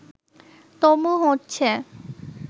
তবু হচ্ছে